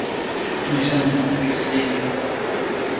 не всё можно купить за деньги